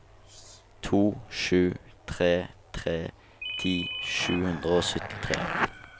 to sju tre tre ti sju hundre og syttitre